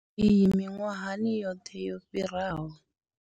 Iyi miṅwahani yoṱhe yo fhiraho.